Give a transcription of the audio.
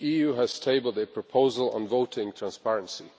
The EU has tabled a proposal on voting transparency.